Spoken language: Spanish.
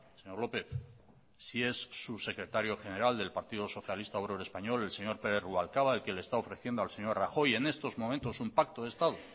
señor lópez si es su secretario general del partido socialista obrero español el señor pérez rubalcaba el que le está ofreciendo al señor rajoy en estos momentos un pacto de estado